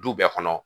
Du bɛɛ kɔnɔ